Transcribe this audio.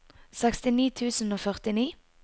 sekstini tusen og førtini